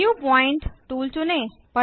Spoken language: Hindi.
न्यू पॉइंट टूल चुनें